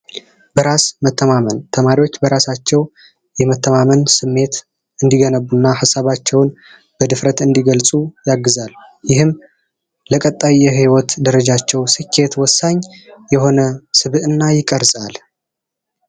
በራስ መተማመን ተማሪዎች በራሳቸው የመተማመን ስሜት እንዲገነቡ እና ሀሳባቸውን በድፍረት እንዲገልጹ ያግዛል። ይህም ሰዎች ለቀጣይ ህይወት ደረጃቸው ስኬት ወሳኝ የሆነ ሚና ይቀርፃል።